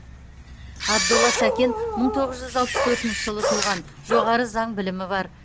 абдолла сәкен мың тоғыз жүз алпыс төртінші жылы туған жоғары заң білімі бар